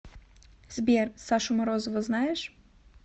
сбер сашу морозова знаешь